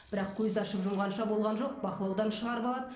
бірақ көзді ашып жұмғанша болған жоқ бақылаудан шығарып алады